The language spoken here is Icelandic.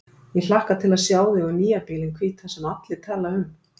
Ég hlakka til að sjá þig og nýja bílinn hvíta sem allir tala um.